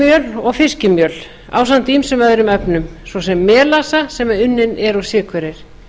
repjumjöl og fiskimjöl ásamt ýmsum öðrum efnum svo sem melassa sem unninn er úr sykurreyr